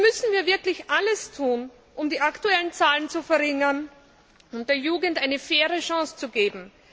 Hier müssen wir wirklich alles tun, um die aktuellen Zahlen zu verringern, um der Jugend eine faire Chance zu geben.